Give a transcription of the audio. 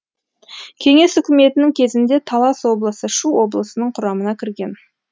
кеңес үкіметінің кезінде талас облысы шу облысының құрамына кірген